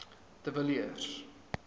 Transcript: de villiers